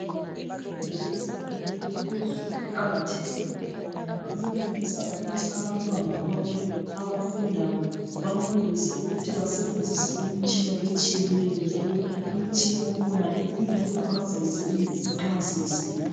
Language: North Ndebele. imfundo yezinga eliphezulu iqhakathekile ngoba iyenelisa ukuthi abantwana bonke abafundayo benelise ukuthi basebenzise imitshina etshiyeneyo njalo imitshina yakhona kuyiyo abazayisebenzisa nxa sebesebenza